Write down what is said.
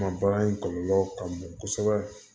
Ma baara in kɔlɔlɔ ka bon kosɛbɛ